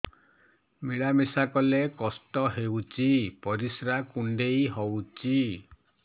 ମିଳା ମିଶା କଲେ କଷ୍ଟ ହେଉଚି ପରିସ୍ରା କୁଣ୍ଡେଇ ହଉଚି